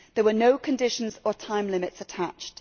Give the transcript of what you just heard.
There were no conditions or time limits attached.